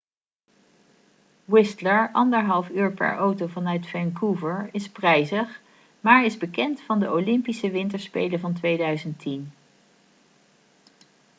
whistler 1,5 uur per auto vanuit vancouver is prijzig maar is bekend van de olympische winterspelen van 2010